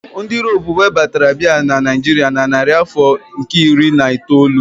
Ndị Europe webatara Beer na Naijiria na narị afọ nke iri na itoolu